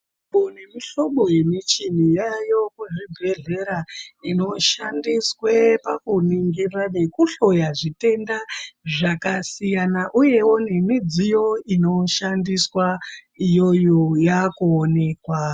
Mihlobo nemihlobo yemichini yaayo kuzvibhendlera inoshandiswa pakuningira nekuhloya zvitenda zvakasiyana. Uyewo nemidziyo inoshandiswa iyoyo yaakuonekwa.